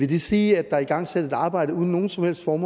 det sige at der er igangsat et arbejde uden nogen som helst for